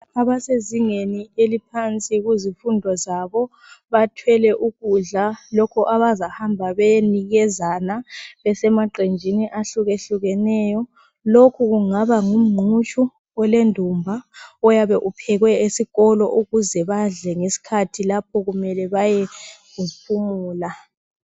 Abasezingeni eliphansi ezifundweni zabo bathwele ukudla lokho abazahamba beyenikezana emaqembini atshiyeneyo lokhu kungaba ngumqutshi olendumba ophekwe esikolweni ukuze badle lapha kumele bayephumula.